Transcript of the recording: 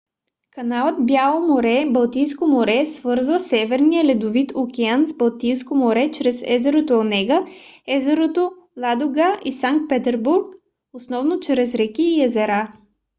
каналът бяло море - балтийско море свързва северния ледовит океан с балтийско море чрез езерото онега езерото ладога и санкт петербург основно чрез реки и езера